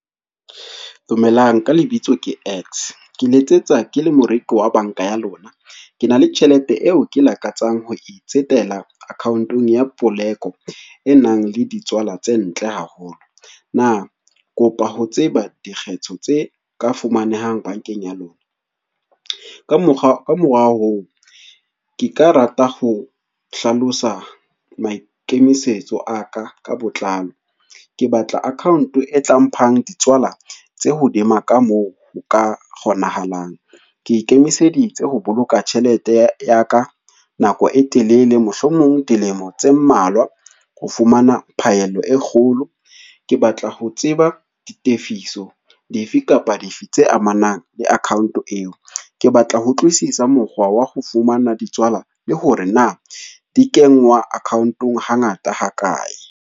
Dumelang ka lebitso ke X, ke letsetsa ke le moreki wa banka ya lona, ke na le tjhelete eo ke lakatsang ho e tsetela account-ong ya poleko e nang le ditswala tse ntle haholo. Na kopa ho tseba dikgetho tse ka fumanehang bankeng ya lona. Ka morao oo ke ka rata ho hlalosa maikemisetso a ka ka botlalo, ke batla account-o e tla mphang ditswala tse hodima ka moo ho ka kgonahalang. Ke ikemiseditse ho boloka tjhelete ya ka nako e telele, mohlomong dilemo tse mmalwa ho fumana phaello e kgolo, ke batla ho tseba ditefiso di fe kapa di fe tse amanang le account eo. Ke batla ho utlwisisa mokgwa wa ho fumana ditswala le hore na dikengwa account-ong hangata ha kae.